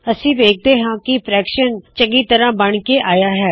ਅਸੀ ਵੇਖਦੇ ਹਾ ਕੀ ਫ੍ਰੈਕਸ਼ਨ ਚੰਗੀ ਤਰਹ ਬਣ ਕੇ ਆਇਆ ਹੈ